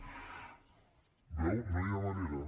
ho veu no hi ha manera